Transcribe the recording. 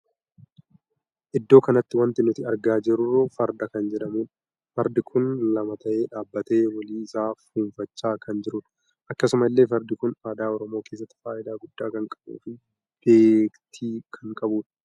Iddoo kanatti wanti nuti argaa jiru farda kan jedhamudha. fardi kun lama tahee dhaabbatee walii isaa funfachaa kan jirudha. akkasuma illee fardi kun aadaa Oromoo keessatti faayidaa guddaa kan qabuu fi beektii kan qabudha.